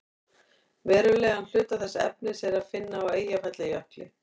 verulegan hluta þess efnis er að finna á eyjafjallajökli